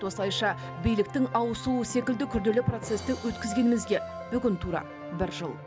осылайша биліктің ауысуы секілді күрделі процесті өткізгенімізге бүгін тура бір жыл